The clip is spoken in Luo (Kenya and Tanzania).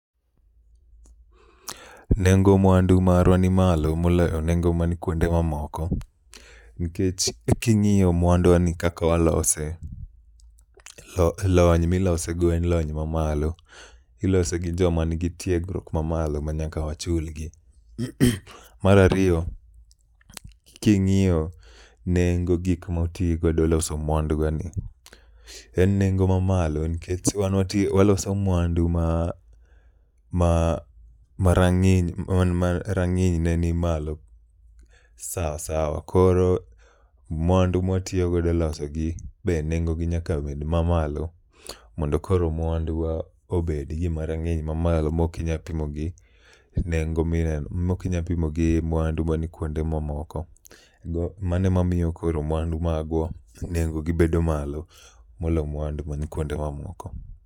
Nengo mwandu marwa ni malo moloyo nengo mani kuonde ma moko. Nikech e king'iyo mwandu wani kaka walose, lony milose go en lony mamalo. Ilose gi jok ma nigi tiegruok ma malo ma nyaka wachulgi. Mar ariyo King'iyo nengo gik moti godo loso mwanduwani, en nengo ma malo nkech wan wati waloso mwando ma ma marang'iny ne ni malo. Sawa sawa, koro mwandu mwatiyogodo e loso gi be nengogi nyaka bed ma malo. Mondo koro mwandu wa obed gi ma rang'iny ma malo mokinya pimo gi, nengo mineno mokinya pimo gi mwandu mani kuonde moko. Mano ema miyo koro mwandu magwa nengo gi bedo malo molo mwandu man kuonde moko.